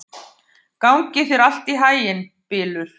Gangi þér allt í haginn, Bylur.